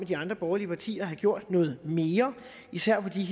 de andre borgerlige partier jo gerne have gjort noget mere især i